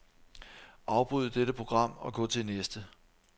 Afbryd dette program og gå til næste.